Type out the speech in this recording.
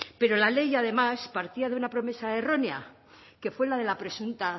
pero la ley además partía de una promesa errónea que fue la de la presunta